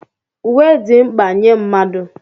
Uwe dị mkpa nye mmadụ.